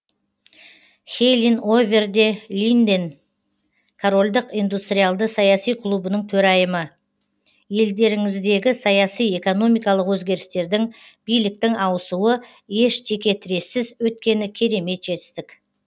хелин овер де линден корольдік индустриалды саяси клубының төрайымы елдеріңіздегі саяси экономикалық өзгерістердің биліктің ауысуы еш текетірессіз өткені керемет жетістік